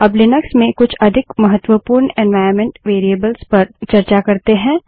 अब लिनक्स में कुछ अधिक महत्वपूर्ण एन्वाइरन्मेंट वेरिएबल्स पर चर्चा करते है